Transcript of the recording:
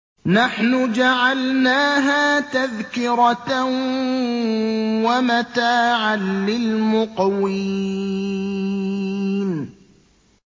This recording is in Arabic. نَحْنُ جَعَلْنَاهَا تَذْكِرَةً وَمَتَاعًا لِّلْمُقْوِينَ